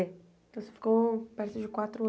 É. Então você ficou perto de quatro